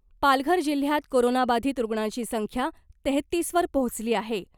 पालघर जिल्ह्यात कोरोनाबाधित रूग्णांची संख्या तेहतीस वर पोहचली आहे .